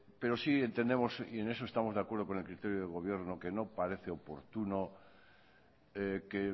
pero sí entendemos y en eso estamos de acuerdo con el criterio del gobierno que no parece oportuno que